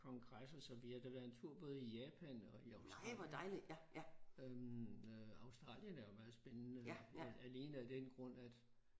Kongresser så vi har da været en tur både i Japan og i Australien. Øh Australien er jo meget spændende alene af den grund at